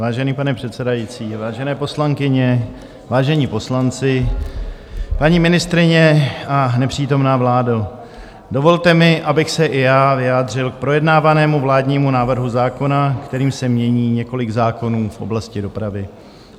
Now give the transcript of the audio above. Vážený pane předsedající, vážené poslankyně, vážení poslanci, paní ministryně a nepřítomná vládo, dovolte mi, abych se i já vyjádřil k projednávanému vládnímu návrhu zákona, kterým se mění několik zákonů v oblasti dopravy.